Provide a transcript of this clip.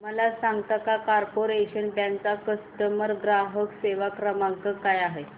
मला सांगता का कॉर्पोरेशन बँक चा ग्राहक सेवा क्रमांक काय आहे